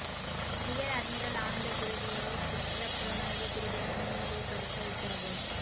rear admiral Ananda குருகேயை குற்றப் புலனாய்வுப் பிரிவிடம் முன்னிலைப்படுத்த உத்தரவு